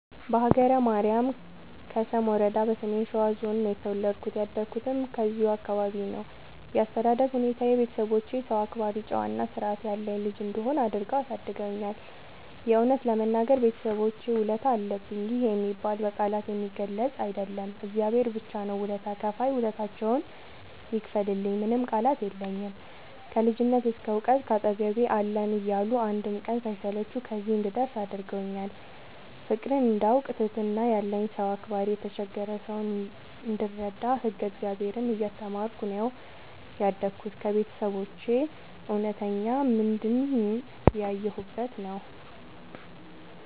በሀገረ ማርያም ከሰም ወረዳ በሰሜን ሸዋ ዞን ነው የተወለድኩት ያደኩትም እዚሁ ቦታ ነው። ያስተዳደግ ሁኔታዬ ቤተሰቦቼ ሰው አክባሪ ጨዋ እና ስርዐት ያለኝ ልጅ እንድሆን አድርገው አሳድገውኛል። የእውነት ለመናገር የቤተሰቦቼ ውለታ አለብኝ ይህ የሚባል በቃላት የሚገለፅ አይደለም እግዚአብሔር ብቻ ነው ውለታ ከፍይ ውለታቸውን ይክፈልልኝ ምንም ቃላት የለኝም። ከልጅነት እስከ ዕውቀት ካጠገቤ አለን እያሉ አንድም ቀን ሳይሰለቹ ከዚህ እንድደርስ አድርገውኛል። ፍቅርን እንዳውቅ ትህትና ያለኝ ሰው አክባሪ የተቸገረ ሰው እንድረዳ ህግ እግዚአብሔርን እየተማርኩ ነው ያደግሁት ከቤተሰቦቼ እውነተኛ ምንድን ያየሁበት ነው።